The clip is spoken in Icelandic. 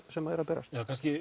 sem eru að berast